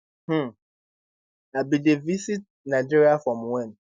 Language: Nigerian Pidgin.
um i bin dey visit nigeria from wen